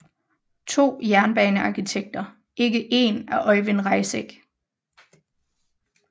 To jernbanearkitekter ikke én af Øyvind Reisegg